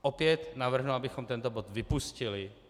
Opět navrhnu, abychom tento bod vypustili.